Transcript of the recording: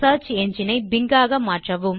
search engine ஐ Bing ஆக மாற்றவும்